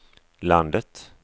landet